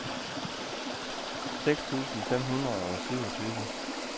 seks tusind fem hundrede og syvogtyve